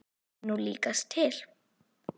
Það er nú líkast til.